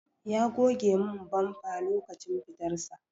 Ya goge min bamfa lokacin fitar sa.